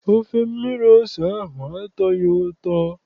Ofe mmiri ose ahụ atọghị ụtọ.